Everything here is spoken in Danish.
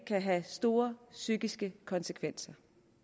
kan have store psykiske konsekvenser